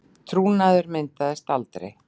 Trúnaður myndaðist aldrei